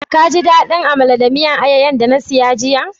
Ka ji dadin Amala da miyan ayoyo'n da na siya jiya?